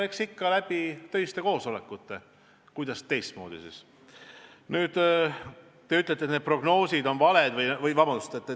Eks ikka töiste koosolekute abil, kuidas siis teistmoodi.